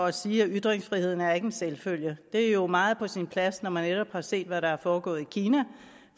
at sige at ytringsfriheden ikke er en selvfølge det er jo meget på sin plads når man netop har set hvad der er foregået i kina